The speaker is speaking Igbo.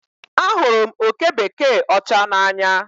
Ahụrụ m oke bekee ọcha n'anya